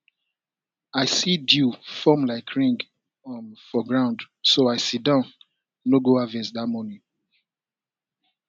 i see dew form like ring um for ground so i sidon no go harvest that morning